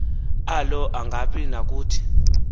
alo angabi nakuthi